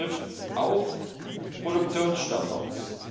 Das betrifft auch Produktionsstandards.